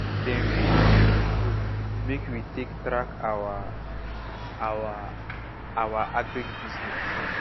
dem bring learning book make we take track our our our agric business